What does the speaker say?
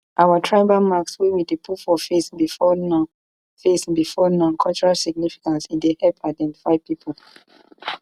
our tribal marks wey we dey put for face before now face before now cultural significance e dey help identify pipo